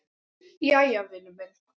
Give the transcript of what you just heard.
Jæja, vinur minn.